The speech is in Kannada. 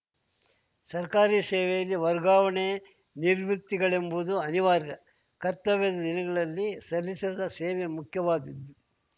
ಸರ್ಕಾರಿ ಸೇವೆಯಲ್ಲಿ ವರ್ಗಾವಣೆ ನಿವೃತ್ತಿಗಳೆಂಬುದು ಅನಿವಾರ್ಯ ಕರ್ತವ್ಯದ ದಿನಗಳಲ್ಲಿ ಸಲ್ಲಿಸಿದ ಸೇವೆ ಮುಖ್ಯವಾದುದು